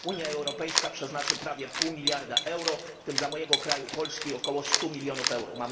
Unia Europejska przeznaczy prawie pół miliarda euro, w tym dla mojego kraju Polski około 100 mln euro.